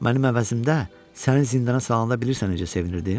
Mənim əvəzimdə səni zindana salanda bilirsən necə sevinirdim?